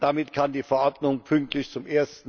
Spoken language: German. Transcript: Damit kann die Verordnung pünktlich zum